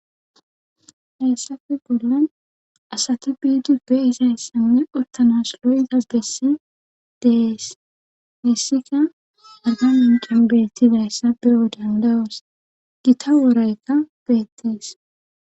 Heessape bollan asati biidiyo peyizayssanne ottanas lo'daso bidi dees hessikka arba minccen beettizayssa beyoo danda'oos gitta wooraykka beettees